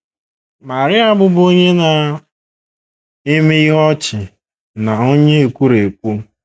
Maria bụbu onye na - eme ihe ọchị na onye ekwurekwu.